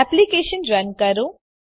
application run કરો